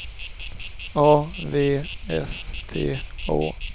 A V S T Å